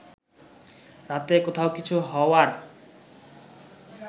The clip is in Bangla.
রাতে কোথাও কিছু হওয়ার